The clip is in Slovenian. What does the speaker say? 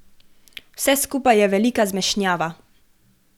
Vse skupaj je velika zmešnjava.